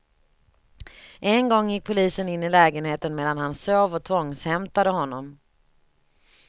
En gång gick polisen in i lägenheten medan han sov och tvångshämtade honom.